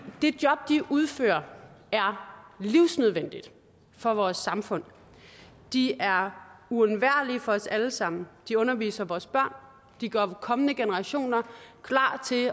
det job de udfører er livsnødvendigt for vores samfund de er uundværlige for os alle sammen de underviser vores børn de gør kommende generationer klar til